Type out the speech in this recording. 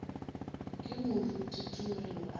ge moruti tumelo a be